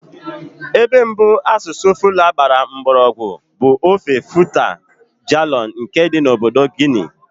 Ebe mbụ asụsụ Fula gbara mgbọrọgwụ bụ ofe Futa Djallon nke dị na obodo Guinea.